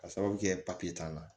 Ka sababu kɛ t'an na